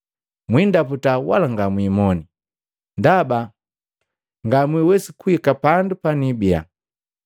Mwindaputa wala ngamwimone, ndaba ngamwiwesi kuhika pandu panibiya.”